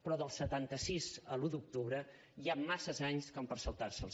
però del setanta sis a l’un d’octubre hi han massa anys com per saltar se’ls